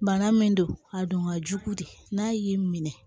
Bana min don a don ka jugu dɛ n'a y'i minɛ